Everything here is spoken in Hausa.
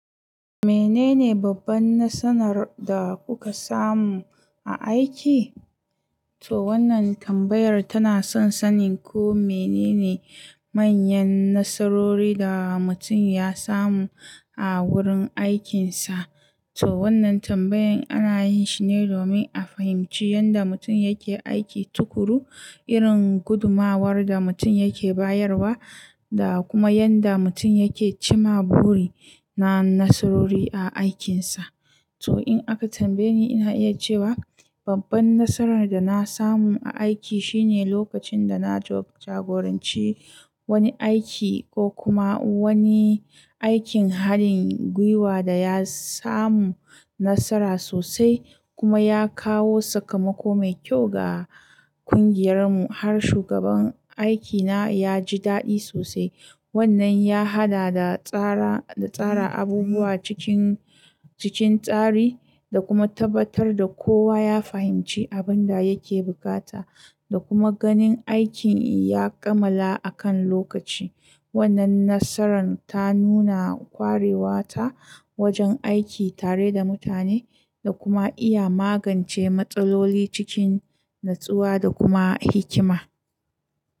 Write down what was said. Menene babban nasarar da kuka samu a aiki? To wannan tambayar tana son sanin ko menene manyan nasarori da mutum ya samu a wurin aikinsa. To wannan tambayar ana yin shi ne domin a fahimci yanda mutum yake aiki tuƙuru, irin gudumawar da mutum yake bayarwa da kuma yanda mutum yake cima buri na nasarori a aikinsa. To in aka tambaye ni, ina iya cewa babban nasarar da na samu a aiki shine lokacin da na jagoranci wani aiki ko kuma wani aikin haɗin gwiwa da ya samu nasara sosai kuma ya kawo sakamako mai kyau ga ƙungiyarmu. Har shugaban aikina ya ji daɗi sosai. Wannan ya haɗa da tsara, da tsara abubuwa cikin, cikin tsari da kuma tabbatar da kowa ya fahimci abin da yake bukata da kuma ganin aikin ya kammala akan lokaci. Wannan nasaran ta nuna kwarewata wajen aiki tare da mutane da kuma iya magance matsaloli cikin natsuwa da kuma hikima.